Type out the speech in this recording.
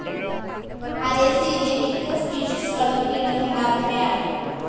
അരേസിയിലെ മിക്ക സ്പീഷിസുകളും കിഴങ്ങുണ്ടാവുന്നവയാണ്.